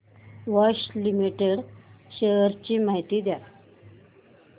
Bosch limited shares ची माहिती द्या